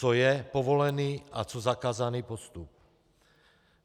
Co je povolený a co zakázaný postup.